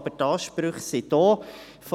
Die Ansprüche sind aber da.